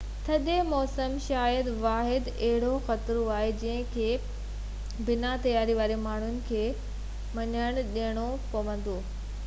ٿڌي موسم شايد ئي واحد اهڙو خطرو آهي جنهن کي بنا تياري واري ماڻهن کي منهن ڏيڻو پوندو